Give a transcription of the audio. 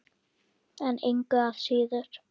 En engu að síður.